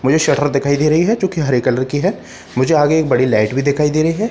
मुझे शटर दिखाई दे रही है जो की हरे कलर की है मुझे आगे एक बड़ी लाइट भी दिखाई दे रही है।